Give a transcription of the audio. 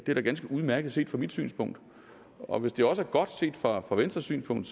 er da ganske udmærket set fra mit synspunkt og hvis det også er godt set fra fra venstres synspunkt